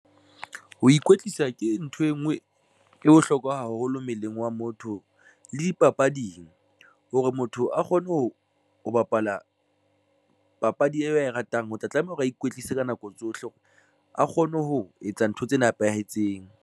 Ho ikwetlisa ke ntho e nngwe e bohlokwa haholo mmeleng wa motho le di papading. Hore motho a kgone ho ho bapala papadi eo ae ratang, ho tla tlameha hore a ikwetlise ka nako tsohle hore a kgone ho etsa ntho tse nepahetseng.